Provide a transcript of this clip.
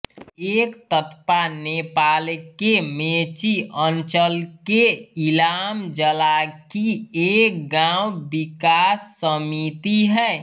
एकतप्पा नेपालके मेची अंचलके इलाम जिलाकी एक गाँव विकास समिति है